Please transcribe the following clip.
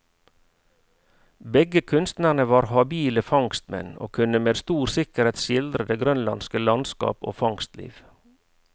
Begge kunstnerne var habile fangstmenn, og kunne med stor sikkerhet skildre det grønlandske landskap og fangstliv.